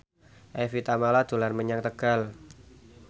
Evie Tamala dolan menyang Tegal